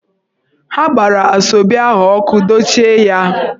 Ha gbara Asoebi ahụ ọkụ, dochie ya!